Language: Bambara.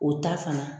O ta fana